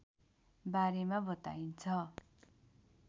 बारेमा बताइन्छ